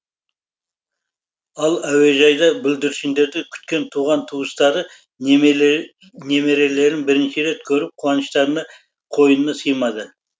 ал әуежайда бүлдіршіндерді күткен туған туыстары немерелерін бірінші рет көріп қуыныштарына қойына сыймады